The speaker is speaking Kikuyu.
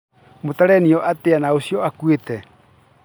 mũtarainwo atia na ucio ukuĩte?